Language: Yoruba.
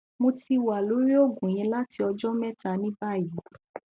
mo ti wa lori oogun yii lati ọjọ mẹta ni bayi